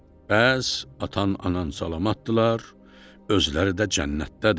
Bəs atan, anan salamatdırlar, özləri də cənnətdədirlər.